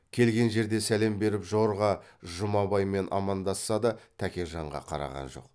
келген жерде сәлем беріп жорға жұмабаймен амандасса да тәкежанға қараған жоқ